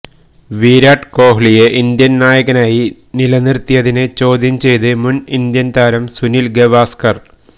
വിരാട് കോഹ്ലിയെ ഇന്ത്യന് നായകനായി നിലനിര്ത്തിയതിനെ ചോദ്യം ചെയ്ത് മുന് ഇന്ത്യന് താരം സുനില് ഗവാസ്കര്